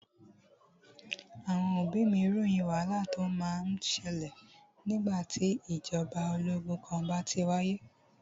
Àwọn òbí mí ròyìn wàhálà tí o má ń bẹ sílẹ̀ nígbà tí ìgbàjọba ológun kan bá ti wáyé.